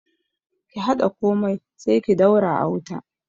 Ki haɗa komai sai ki daura a wuta